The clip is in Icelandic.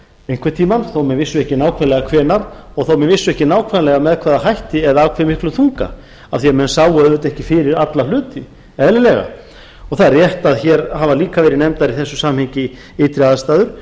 einhverntímann þó menn vissu ekki nákvæmlega og þó menn vissu ekki nákvæmlega með hvaða hætti eða af hvað miklum þunga af því menn sáu auðvitað ekki fyrir alla hluti eðlilega og það er rétt að hér hafa líka verið nefndar í þessu sambandi ytri aðstæður